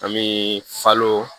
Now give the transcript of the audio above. An bɛ falo